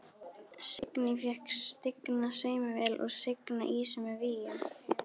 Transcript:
Signý fékk stigna saumavél og signa ýsu með víum.